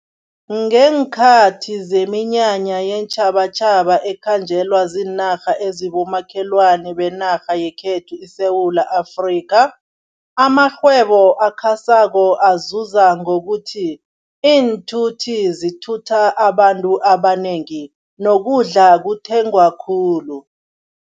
Ngeenkhathi zeminyanya yeentjhabatjhaba ekhanjelwa ziinarha ezibomakhelwana benarha yekhethu iSewula Afrika, amarhwebo akhasako azuza ngokuthi, iinthuthi zithutha abantu abanengi, nokudla kuthengwa khulu.